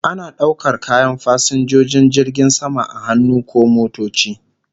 Ana daukar kayan fasinjojin jirgin sama a hannu ko motoci